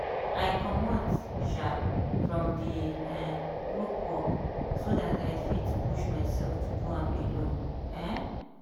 i comot um from di um group work so dat i fit push myself do am alone um.